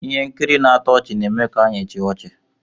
ihe nkiri na-atọ ọchị na-eme ka anyị chịa ọchị